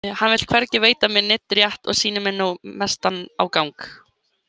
Hann vill hvergi veita mér neinn rétt og sýnir mér nú mestan ágang.